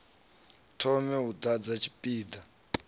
thome u ḓadza tshipi ḓa